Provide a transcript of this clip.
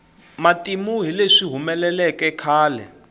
matimu hi leswi humeleleke khale